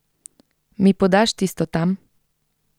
Mi podaš tisto tam?